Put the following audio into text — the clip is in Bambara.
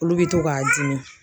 Olu be to k'a dimi